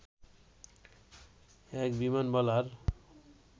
এক বিমানবালার